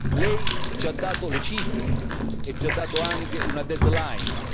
Lei ci ha dato le cifre e ci ha dato anche una deadline